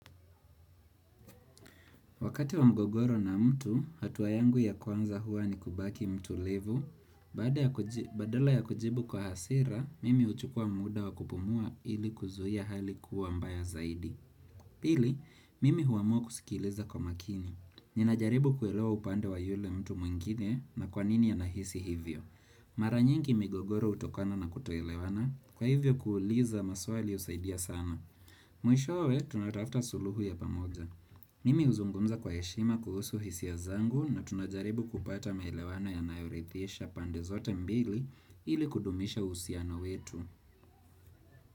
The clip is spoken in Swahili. Wakati wa mgogoro na mtu, hatuwa yangu ya kwanza hua ni kubaki mtulivu, badala ya kujibu kwa hasira, mimi huchukua muda wa kupumua ili kuzuhia hali kuwa mbaya zaidi. Pili, mimi huamua kusikiliza kwa makini. Ninajaribu kuelewa upande wa yule mtu mwingine na kwa nini anahisi hivyo. Mara nyingi migogoro hutokana na kutoelewana, kwa hivyo kuuliza maswali husaidia sana. Mwishowe, tunatafta suluhu ya pamoja. Mimi huzungumza kwa heshima kuhusu hisia zangu na tunajaribu kupata maelewano yanayorithisha pande zote mbili ili kudumisha husiano wetu.